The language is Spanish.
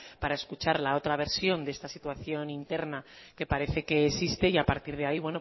para escuchar la otra versión de esta situación interna que parece que existe y a partir de ahí